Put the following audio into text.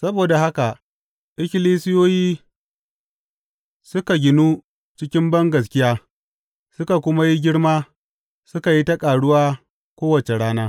Saboda haka ikkilisiyoyi suka ginu cikin bangaskiya suka kuma yi girma suka yi ta ƙaruwa kowace rana.